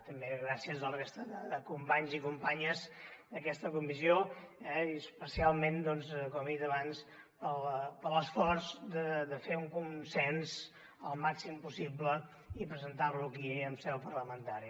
també gràcies a la resta de companys i companyes d’aquesta comissió i especialment com he dit abans per l’esforç de fer un consens al màxim possible i presentar lo aquí en seu parlamentària